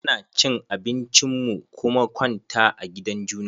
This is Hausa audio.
Mu na cin abinci mu kuma kwanta a gidan juna.